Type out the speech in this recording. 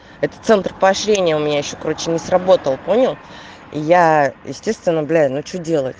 это центр поощрения у меня ещё круче не сработал понял яя естественно бля ну что делать